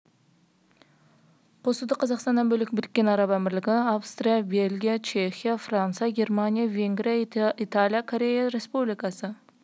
қосуды қазақстаннан бөлек біріккен араб әмірліктері австрия бельгия чехия франция германия венгрия италия корея республикасы